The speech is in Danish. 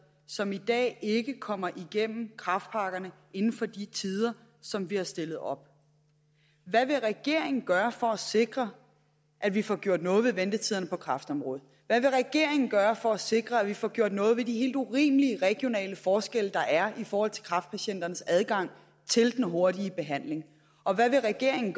som i dag ikke kommer igennem kræftpakkerne inden for de tider som vi har stillet op hvad vil regeringen gøre for at sikre at vi får gjort noget ved ventetiderne på kræftområdet hvad vil regeringen gøre for at sikre at vi får gjort noget ved de helt urimelige regionale forskelle der er i forhold til kræftpatienternes adgang til den hurtige behandling og hvad vil regeringen